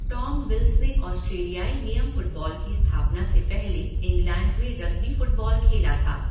Tom Wills ने ऑस्ट्रेलियाई नियम फ़ुटबॉल की स्थापना से पहले इंग्लैंड में रग्बी फ़ुटबॉल खेला था।